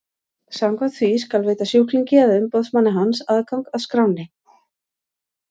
Samkvæmt því skal veita sjúklingi eða umboðsmanni hans aðgang að skránni.